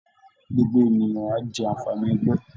Gbogbo ènìyàn á jẹ́ àǹfààní ẹgbẹ́